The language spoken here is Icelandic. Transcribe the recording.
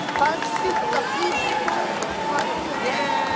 Falleg stúlka flýtti Thomas sér að segja.